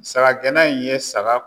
Saga gɛnna in ye saga